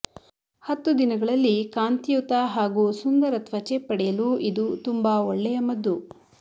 ಹತ್ತು ದಿನಗಳಲ್ಲಿ ಕಾಂತಿಯುತ ಹಾಗೂ ಸುಂದರ ತ್ವಚೆ ಪಡೆಯಲು ಇದು ತುಂಬಾ ಒಳ್ಳೆಯ ಮದ್ದು